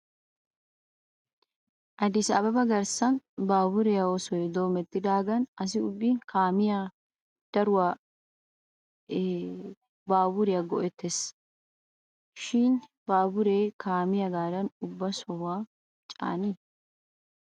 Addis ababa garssan baaburiyaa oosoy doomettidaagan asi ubbi kaamiyaape daruwaa he baaburiyaa go'etts shin he baaburee kaamiyaagaadan ubba sohuwaakka caanii?